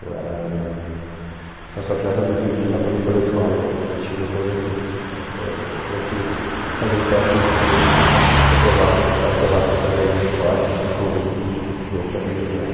Eu era sócio-atleta de um clube de lá, pelo pela escola, que tinha uma coisa assim, se tu f ãh fosse fazer um teste nesse clube e fosse aprova aprovado para fazer algum esporte, eles tinham um convênio com crianças da comunidade.